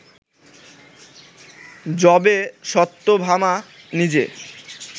যবে সত্যভামা নিজে